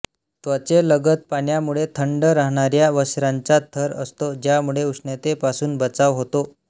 त्वचेलगत पाण्यामुळे थंड राहणार्र्या वस्त्रांचा थर असतो ज्यामुळे उष्णतेपासून बचाव होतो